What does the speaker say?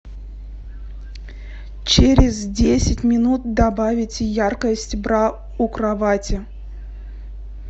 через десять минут добавить яркость бра у кровати